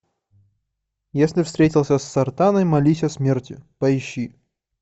если встретился с сартаной молись о смерти поищи